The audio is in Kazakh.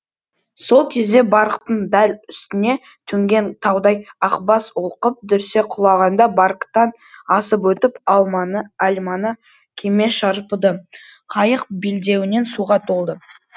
сол кезде барктың дәл үстіне төнген таудай ақбас олқып дүрсе құлағанда барктан асып өтіп альманы кеме шарпыды қайық белдеуінен суға толды